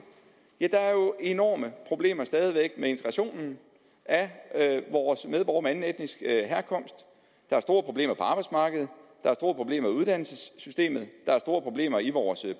ja der er jo enorme problemer stadig væk med integrationen af vores medborgere af anden etnisk herkomst der er store problemer på arbejdsmarkedet der er store problemer i uddannelsessystemet der er store problemer i vores